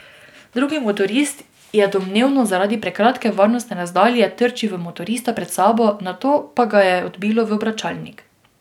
Drugi motorist je domnevno zaradi prekratke varnostne razdalje trčil v motorista pred sabo, nato pa ga je odbilo v obračalnik.